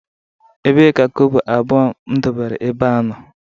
Ebee ka kobo abuo m debere ebea no?